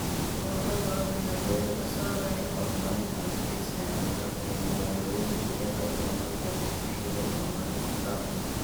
Ururo badan ayaa diiradda saaraya horumarinta adkeysiga cimilada ee magaalooyinka iyada oo loo marayo qorshe iyo horumarin isku dhafan.